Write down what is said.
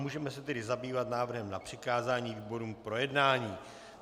Můžeme se tedy zabývat návrhem na přikázání výborům k projednání.